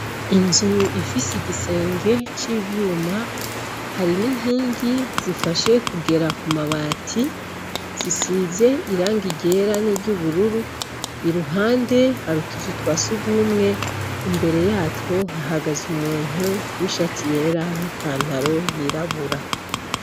Inzu ifise igisenge c'ivyuma hari n'inkingi zifashe kugera kumabati zisize irangi ryera n'iry'ubururu. Iruhande har'utuzu twasugwumwe. Imbere yatwo hahagaze umuntu w'ishati yera n'ipantaro yirabura.